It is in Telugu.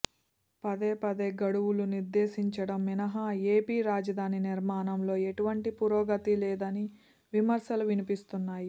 పదే పదే గడువులు నిర్దేశించడం మినహా ఏపీ రాజధాని నిర్మాణంలో ఎటువంటి పురోగతి లేదని విమర్శలు వినిపిస్తున్నాయి